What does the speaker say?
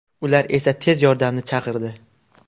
Ular esa tez yordamni chaqirdi.